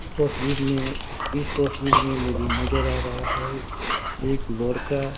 इस तस्वीर में इस तस्वीर में मुझे नजर आ रहा है एक का।